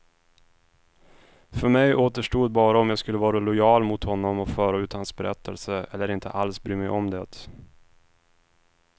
För mig återstod bara om jag skulle vara lojal mot honom och föra ut hans berättelse, eller inte alls bry mig om det.